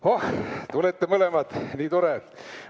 Te tulete mõlemad – nii tore!